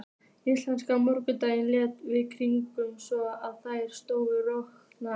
Ískaldur morgunninn lék við kinnarnar svo á þær sló roða.